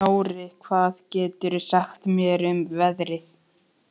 Nóri, hvað geturðu sagt mér um veðrið?